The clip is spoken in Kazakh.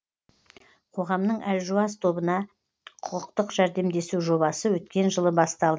қоғамның әлжуаз тобына құқықтық жәрдемдесу жобасы өткен жылы бастал